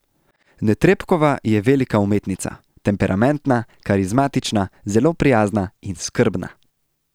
Netrebkova je velika umetnica, temperamentna, karizmatična, zelo prijazna in skrbna.